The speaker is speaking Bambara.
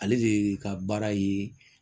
Ale de ka baara ye